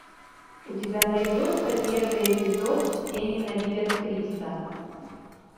у тебя найдется первый эпизод все ненавидят криса